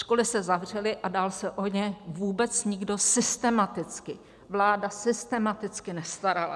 Školy se zavřely a dál se o ně vůbec nikdo systematicky, vláda systematicky nestarala.